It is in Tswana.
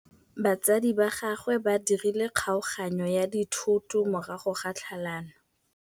Batsadi ba gagwe ba dirile kgaoganyô ya dithoto morago ga tlhalanô.